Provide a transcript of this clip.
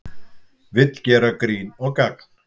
Vill gera grín og gagn